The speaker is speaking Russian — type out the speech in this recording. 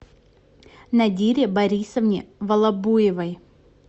нодире борисовне волобуевой